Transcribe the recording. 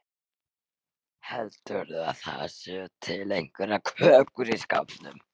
Heldurðu að það séu til einhverjar kökur í skápnum?